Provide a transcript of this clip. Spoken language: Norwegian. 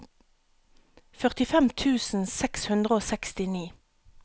førtifem tusen seks hundre og sekstini